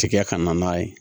Tigɛ ka na n'a ye